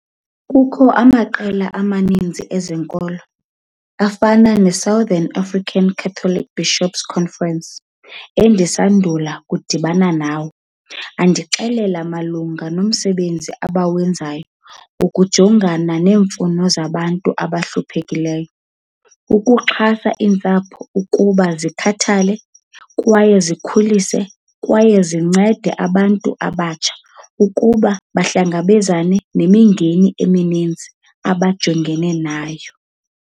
Kukho amaqela amaninzi ezenkolo afana neSouthern African Catholic Bishop's Conference, endisandula ukudibana nawo andixelele malunga nomsebenzi awenzayo ukujongana neemfuno zabantu abahluphekileyo, ukuxhasa iintsapho ukuba zikhathale kwaye zikhulise kwaye zincede abantu abasebatsha ukuba bahlangabezane nemingeni emininzi abajongene nayo.